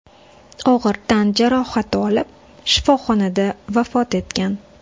og‘ir tan jarohati olib, shifoxonada vafot etgan.